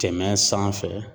Tɛmɛ sanfɛ